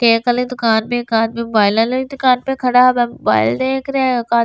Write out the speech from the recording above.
cake वाली दुकान में एक आदमी मोबाइल लेके दुकान पे खड़ा है मोबाइल देख रहे हैं का --